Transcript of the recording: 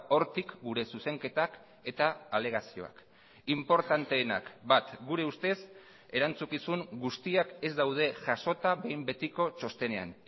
hortik gure zuzenketak eta alegazioak inportanteenak bat gure ustez erantzukizun guztiak ez daude jasota behin betiko txostenean